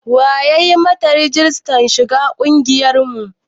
Wa ya yi ma ta rijistar shiga ƙungiyar mu?